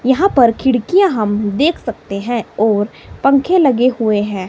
यहां पर खिड़कियां हम देख सकते है और पंखे लगे हुए है।